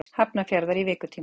Hafnarfjarðar í vikutíma.